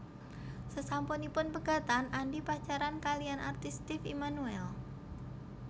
Sasampunipun pegatan Andi pacaran kaliyan artis Steve Emmanuel